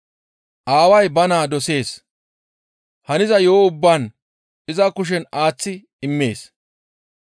«Aaway ba naa dosees. Haniza yo7o ubbaa iza kushen aaththi immees.